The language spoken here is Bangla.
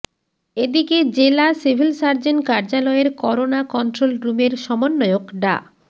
এদিকে জেলা সিভিল সার্জন কার্যালয়ের করোনা কন্ট্রোল রুমের সমন্বয়ক ডা